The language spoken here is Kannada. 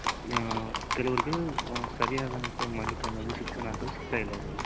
ಆ ಕೆಲವೃಗೆ ಸರಿಯಾದ್ ಅಂತ ಮಾಹಿತಿ ಅನ್ನೋದು ಶಿಕ್ಷಣ ಅನ್ನೋದು ಸಿಕ್ತ ಇಲ್ಲ ಅವ್ರಿಗೆ